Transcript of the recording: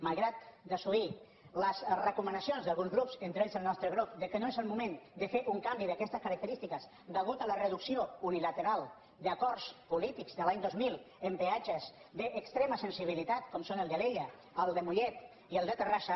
malgrat desoir les recomanacions d’alguns grups entre ells el nostre grup que no és el moment de fer un canvi d’aquestes característiques a causa de la reducció unilateral d’acords polítics de l’any dos mil en peatges d’extrema sensibilitat com són el d’alella el de mollet i el de terrassa